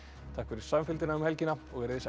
takk fyrir samfylgdina um helgina verið þið sæl